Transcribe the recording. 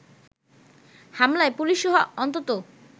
হামলায় পুলিশসহ অন্তত